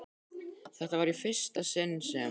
Þetta var í fyrsta sinn sem